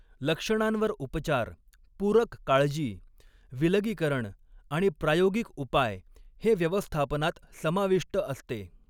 लक्षणांवर उपचार, पूरक काळजी, विलगीकरण आणि प्रायोगिक उपाय हे व्यवस्थापनात समाविष्ट असते.